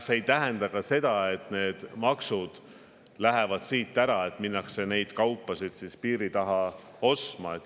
See ei tähenda ka seda, et need maksud lähevad siit ära ja siis minnakse neid kaupu ostma piiri taha.